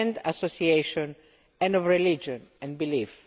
association and of religion and belief.